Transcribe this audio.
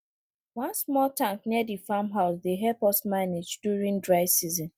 one small tank near the farm house dey help us manage during dry season